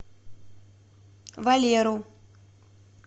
валеру